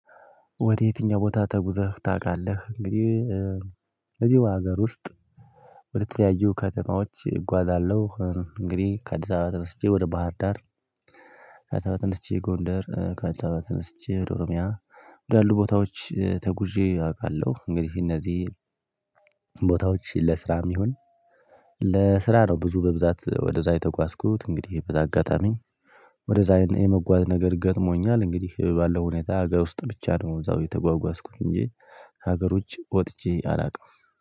ወደ የትኛው ቦታ ተጉዘህ ታውቃለህ? እንግዲህ እዚሁ ሀገር ውስጥ በተለያዩ ከተማዎች እጓዛለሁ እንግዲህ ከአዲስ አበባ ተነስቼ ወደ ባህር ዳር። ከአዲስ አበባ ተነስቼ ጎንደር ከአዲስ አበባ ተነስቼ ወደ ኦሮሚያ ወዳሉ ቦታዎች ተጉዤ አውቃለሁ። እንግዲህ እነዚህ ቦታዎች ለስራም ይሁን ለስራ ነው ብዙ በብዛት ወደዛ የተጓዝኩት እንግዲህ በዛ አጋጣሚ ወደዛ የመጓዝ ነገር ገጥሞኛል። እንግዲህ ባለው ሁኔታ አገር ውስጥ ብቻ ነው እዛው የተጓጓዝኩት እንጂ ሀገሮች ወጥቼ አላውቅም።